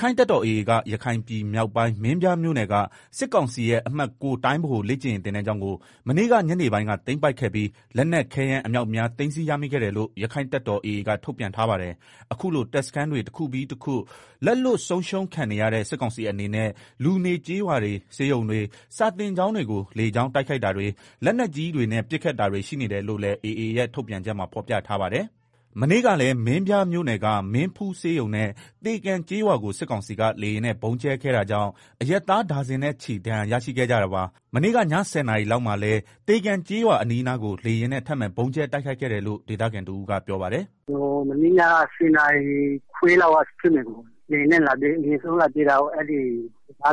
ခိုင့်တပ်တော် AA က ရခိုင်ပြည်မြောက်ပိုင်း မင်းပြားမြို့နယ်က စစ်ကောင်စီရဲ့ အမှတ် တိုင်းဗဟိုလေ့ကျင့်ရေးသင်တန်းကျောင်းကို မနေ့က ညနေပိုင်းက သိမ်းပိုက်ခဲ့ပြီး လက်နက်ခဲယမ်း အမြောက်အများ သိမ်းဆည်းရမိခဲ့တယ်လို့ ရက္ခိုင့်တပ်တော် AA က ထုတ်ပြန် ထားပါတယ်။ အခုလို တပ်စခန်းတွေ တခုပြီးတခု လက်လွတ်ဆုံးရှုံးခံနေရတဲ့ စစ်ကောင်စီအနေနဲ့ လူနေ ကျေးရွာတွေ၊ ဆေးရုံတွေ၊ စာသင်ကျောင်းတွေကို လေကြောင်းက တိုက်ခိုက်တာတွေ၊ လက်နက်ကြီးတွေနဲ့ ပစ်ခတ်တာတွေ ရှိနေတယ်လို့လည်း AA ထုတ်ပြန်ချက်မှာ ဖော်ပြထားပါတယ်။ မနေ့ကလည်း မင်းပြားမြို့နယ်က မင်းဖူး ဆေးရုံနဲ့ သေကံ ကျေးရွာကို စစ်ကောင်စီက လေယာဉ်နဲ့ ဗုံးကြဲခဲ့တာကြောင့် အရပ်သား ဒါဇင်နဲ့ချီ ဒဏ်ရာရရှိခဲ့ကြတာပါ။ မနေ့က ည၁ဝနာရီ လောက်မှာလဲ သေကံ ကျေးရွာအနီးအနားကို လေယာဉ်နဲ့ထပ်မံဗုံးကြဲ တိုက်ခိုက်ခဲ့တယ်လို့ ဒေသခံတဦးကပြောပါတယ်။ “ မနေ့ညက ဆယ်နာရီခွဲလောက်က ဖြစ်မယ်၊ လေယာဉ်နဲ့ လာပစ်တယ်။ရာမောင်တံတားဘေးက စခ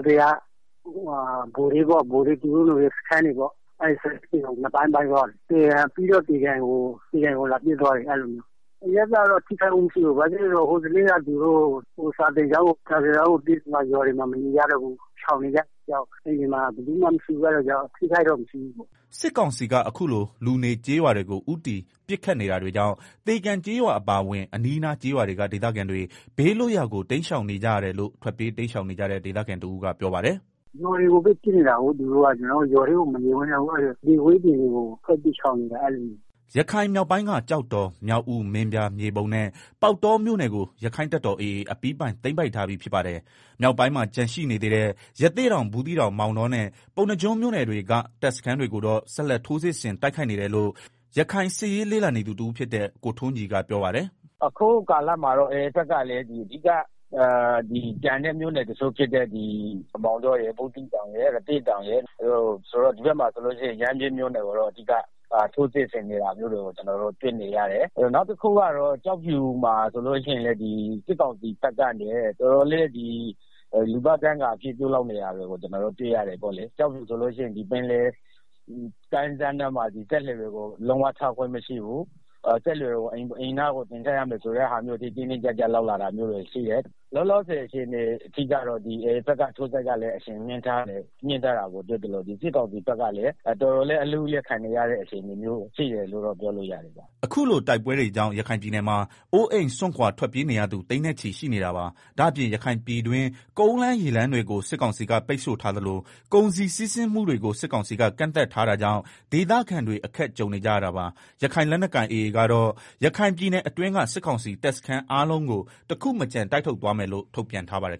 န်းတွေကို ပစ်သွားတယ်။ ပြီးတော့ သေကံ ကို လာပစ်သွားတယ်၊ အဲလိုမျိုး အရပ်သားတော့ ထိခိုက်မှု မရှိဘူး။ ဘာဖြစ်လို့လည်းဆိုတော့ သူတို့ စာသင်ကျောင်းကို ပစ်လိုက်တော့ ရွာတွေမှာ မနေကြတော့ဘူး၊ ရှောင်နေကြတယ်။ အိမ်တွေမှာ ဘယ်သူမှမရှိဘူး။ အဲဒါကြောင့် အထိအခိုက်တော့ မရှိဘူး။” စစ်ကောင်စီက အခုလို လူနေကျေးရွာတွေကို ဦးတည် ပစ်ခတ်နေတာတွေကြောင့် သေကံ ကျေးရွာအပါအဝင် အနီးအနားကျေးရွာတွေက ဒေသခံတွေ ဘေးလွတ်ရာကို တိမ်းရှောင်နေကြရတယ်လို့ ထွက်ပြေးတိမ်းရှောင်နေရတဲ့ ဒေသခံတဦးက ပြောပါတယ်။ “ ရွာတွေကိုပဲ ပစ်နေတာကို သူတို့က။ အဲဒါကြောင့် ကျနော်တို့ ရွာထဲမှာ မနေဝံ့တော့ဘူး။ အဲဒါကြောင့် လယ်ကွင်းတွေမှာ ထွက်ပြီးတော့ ရှောင်နေကြရတယ်။” ရခိုင်မြောက်ပိုင်းက ကျောက်တော် မြောက်ဦး မင်းပြား၊ မြေပုံနဲ့ ပေါက်တော မြို့နယ်တွေကို ရက္ခိုင့်တပ်တော် AA က အပြီးပိုင် သိမ်းပိုက်ထားပြီး ဖြစ်ပါတယ်။ မြောက်ပိုင်းမှာ ကျန်ရှိနေသေးတဲ့ ရသေ့တောင်၊ ဘူးသီးတောင်၊ မောင်တောနဲ့ ပုဏ္ဏားကျွန်းမြို့နယ်တွေက တပ်စခန်းတွေကိုတော့ ဆက်လက် ထိုးစစ်ဆင် တိုက်ခိုက်နေတယ်လို့ ရခိုင်စစ်ရေးလေ့လာနေသူတဦးဖြစ်တဲ့ ကိုထွန်းကြည် ကပြောပါတယ်။ “ အခုကာလမှာတော့ AA ဘက်က ကျန်တဲ့ မြို့နယ် တချို့ဖြစ်တဲ့ ရသေ့တောင်၊ ဘူးသီးတောင်၊ မောင်တောရယ် ဒီဘက်မှာဆိုရင်တော့ ရမ်းဗြဲမြို့နယ်ကို ထိုးစစ်ဆင်နေတာ တွေ့ရတယ်။ နောက်တခုကတော့ ကျောက်ဖြူမှာ ဆိုလို့ရှိရင်လည်း စစ်ကောင်စီဘက်ကနေ တော်တော်လေး လူသားဒိုင်းကာအဖြစ် ပြုလုပ်နေတာတွေကို တွေ့ရတယ်။ ကျောက်ဖြူက ပင်လယ်ကမ်းစပ်နားမှာ စက်လှေတွေကို လုံးဝ ထားခွင့်မရှိဘူး၊ စက်လှေတွေကို အိမ်နားကိုတင်ထားရမယ် ဆိုတဲ့ဟာမျိုးအထိ တင်းတင်းကြပ်ကြပ် လုပ်လာတမျိုးတွေ ရှိတယ်။ လောလောဆယ်အခြေအနေထိကတော့ AA ဘက်လည်း ထိုးစစ်အရှိုန်ကို မြင့်ထားတာရှိသလို စစ်ကောင်စီ ဘက်ကလည်း တော်တော်လေး အလူးအလဲ ခံနေရတဲ့ အခြေအနေရှိ တယ်လို့ ပြောလို့ရတယ်။” အခုလို တိုက်ပွဲတွေကြောင့် ရခိုင်ပြည်နယ်မှာ အိုးအိမ်စွန့်ခွာ ထွက်ပြေးနေရသူ သိန်းနဲ့ချီ ရှိနေတာပါ။ ဒါ့အပြင် ရခိုင်ပြည်တွင်း ကုန်လမ်း၊ ရေလမ်းတွေကို စစ်ကောင်စီက ပိတ်ဆို့ထားသလို ကုန်စည်စီးဆင်းမှုတွေကို စစ်ကောင်စီက ကန့်သတ်ထားတာကြောင့် ဒေသခံတွေ အခက်ကြုံနေကြရတာပါ။ ရခိုင်လက်နက်ကိုင် AA ကတော့ ရခိုင်ပြည်နယ်အတွင်းက စစ်ကောင်စီတပ်စန်းအားလုံးကို တခုမကျန် တိုက်ထုတ်သွားမယ်လို့ ထုတ်ပြန်ထားပါတယ်